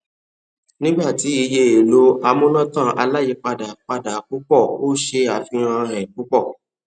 nigba tí iye èlò amúnátàn aláyìipadà pada púpọ o ṣe àfihàn èè púpọ